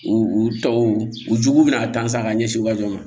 U u tɔw u jugu bɛ na tan san ka ɲɛsin u ma